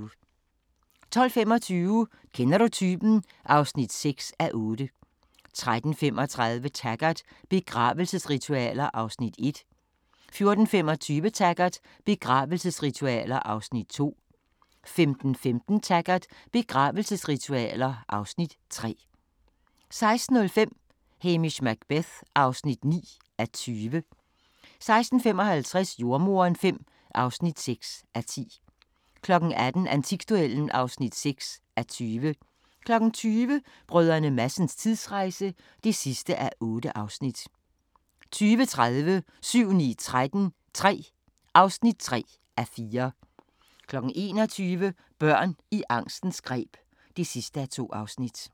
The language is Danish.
12:25: Kender du typen? (6:8) 13:35: Taggart: Begravelsesritualer (Afs. 1) 14:25: Taggart: Begravelsesritualer (Afs. 2) 15:15: Taggart: Begravelsesritualer (Afs. 3) 16:05: Hamish Macbeth (9:20) 16:55: Jordemoderen V (6:10) 18:00: Antikduellen (6:20) 20:00: Brdr. Madsens tidsrejse (8:8) 20:30: 7-9-13 III (3:4) 21:00: Børn i angstens greb (2:2)